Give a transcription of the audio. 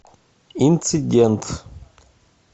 инцидент